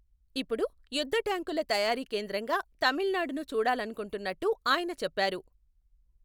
ఇప్పుడు యుద్ధట్యాంకుల తయారీ కేంద్రంగా తమిళనాడును చూడాలనుకుంటున్నట్టు ఆయన చెప్పారు.